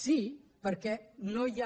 sí perquè no hi ha